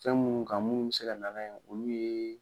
Fɛn minnu ka minnu bɛ se ka nana ye olu ye